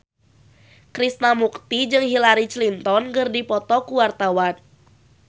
Krishna Mukti jeung Hillary Clinton keur dipoto ku wartawan